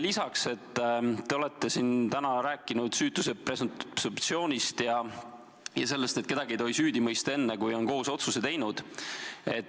Lisaks, te olete siin täna rääkinud süütuse presumptsioonist ja sellest, et kedagi ei tohi süüdi mõista enne, kui kohus on otsuse teinud.